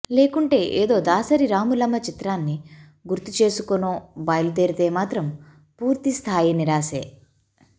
లేకుంటే ఏదో దాసరి రాములమ్మ చిత్రాన్ని గుర్తు చేసుకునో బయిలుదేరితే మాత్రం పూర్తి స్ధాయి నిరాశే